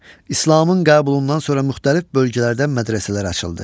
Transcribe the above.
İslamın qəbulundan sonra müxtəlif bölgələrdə mədrəsələr açıldı.